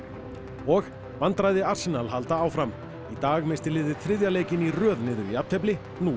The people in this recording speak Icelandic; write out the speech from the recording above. og vandræði halda áfram í dag missti liðið þriðja leikinn í röð niður í jafntefli nú í